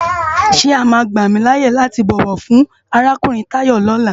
Sé è má gbámilâyé láti bòwò fun árákúurin Tayo lòlá?